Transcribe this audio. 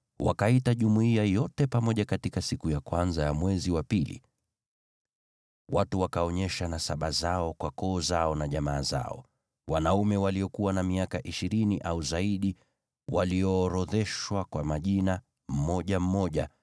wakaita jumuiya yote pamoja katika siku ya kwanza ya mwezi wa pili. Watu wakaonyesha nasaba zao kwa koo zao na jamaa zao, nao wanaume waliokuwa na miaka ishirini au zaidi waliorodheshwa kwa majina, mmoja mmoja,